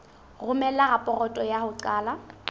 romela raporoto ya ho qala